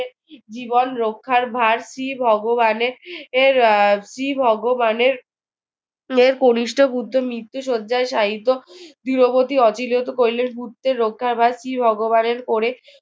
জীবন রক্ষার ভার শ্রী ভগবানের এর শ্রী ভগবানের কনিষ্ঠ পুত্রের মৃত্যু শয্যায় শায়িত গৃহপতি কৈলাশ মূর্তি রক্ষাগার কি ভগবানের করে